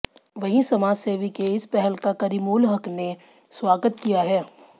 वही समाजसेवी के इस पहल का करीमूल हक ने स्वागत किया है